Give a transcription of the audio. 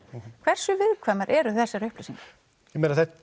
hversu viðkvæmar eru þessar upplýsingar sko